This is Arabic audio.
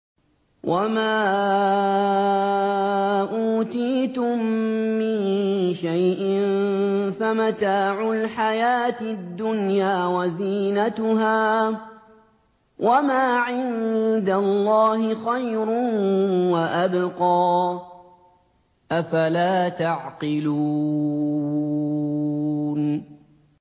وَمَا أُوتِيتُم مِّن شَيْءٍ فَمَتَاعُ الْحَيَاةِ الدُّنْيَا وَزِينَتُهَا ۚ وَمَا عِندَ اللَّهِ خَيْرٌ وَأَبْقَىٰ ۚ أَفَلَا تَعْقِلُونَ